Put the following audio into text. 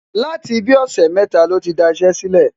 láti bí i ọ̀sẹ̀ mẹ́ta ló ti daṣẹ́ sílẹ̀.